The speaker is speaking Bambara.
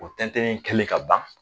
O tɛntɛnni kɛlen ka ban